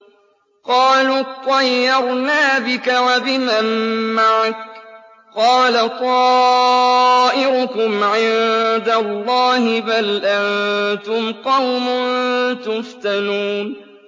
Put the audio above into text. قَالُوا اطَّيَّرْنَا بِكَ وَبِمَن مَّعَكَ ۚ قَالَ طَائِرُكُمْ عِندَ اللَّهِ ۖ بَلْ أَنتُمْ قَوْمٌ تُفْتَنُونَ